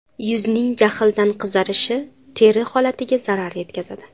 Yuzning jahldan qizarishi teri holatiga zarar yetkazadi.